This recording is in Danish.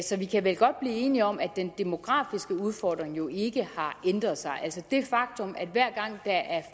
så vi kan vel godt blive enige om at den demografiske udfordring ikke har ændret sig det faktum at hver gang der er